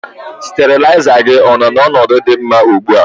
Steriliser gị ọ nọ n'ọnọdụ dị mma ugbu a?